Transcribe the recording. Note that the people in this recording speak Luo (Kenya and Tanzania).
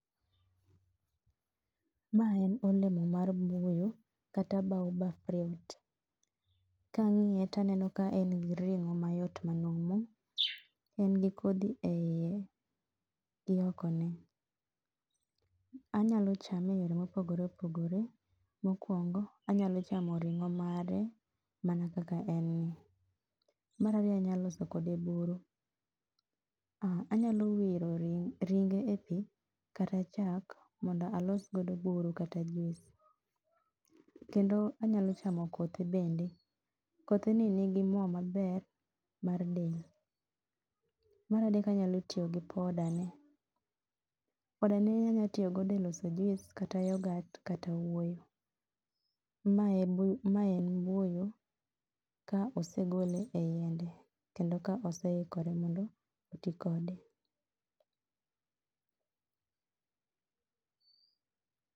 Ma en olemo mar buyu kata baobab fruit. kang'iye taneno ka en gi ring'o mayot manumu, en go kodhi e iye, iyokoni. Anyalo chame eyore mopogore opogore. Mokuongo anyalo chamo ring'o mare mana kaka en ni. Mar ariyo nayalo loso kode buru. Anyalo wiro ringe e pi kata chak mondo alos go buru kata juice. Kendo anyalo chamo kothe bende. Kothe ni ni gi mo maber mar dend. Maradek anyalo yiyo gi poda ne. poda ne anyalo tiyogo e loso juice kata yogat kata wuoyo. Mae en ma en buyu, ka osegole e yiende, kendo oseikore mondo oti kode.